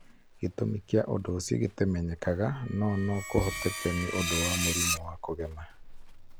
Gĩtũmi kĩa ũndũ ũcio gĩtimenyekaga, no no kũhoteke nĩ ũndũ wa mũrimũ wa kũgema.